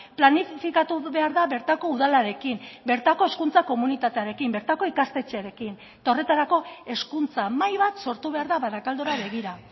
planifikatu behar da bertako udalarekin bertako hezkuntza komunitatearekin bertako ikastetxearekin eta horretarako hezkuntza mahai bat sortu behar da barakaldora begira